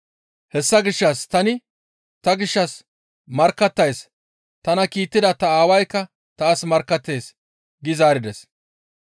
Hessa gishshas tani ta gishshas markkattays; tana kiittida ta Aawaykka taas markkattees» gi zaarides.